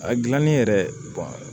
A gilanni yɛrɛ